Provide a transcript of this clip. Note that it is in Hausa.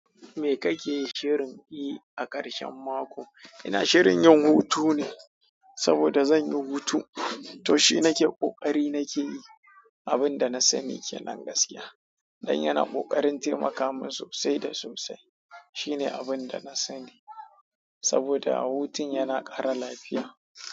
Me kake shirin yi a ƙarshen mako? Ina shirin yin hutu ne saboda zan yi hutu. To shi nake ƙoƙari nake yi, abin da na sani ke nan gaskiya. Dan yana ƙoƙarin taimaka mun sosai da sosai. Shi ne abin da na sani saboda hutun yana ƙara lafiya.